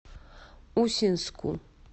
усинску